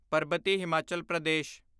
ਪਰਬਤੀ Himachal Pradesh